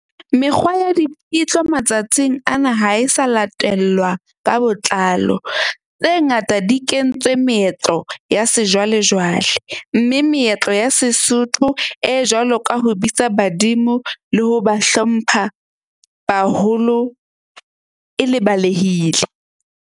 Mekgwa ya di matsatsing ana ha e sa latellwa ka botlalo. Tse ngata di kentswe meetlo ya sejwalejwale, mme meetlo ya Sesotho e jwalo ka ho bitsa badimo, le ho ba hlompha baholo e lebalehile.